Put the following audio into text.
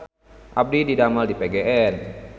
Abdi didamel di PGN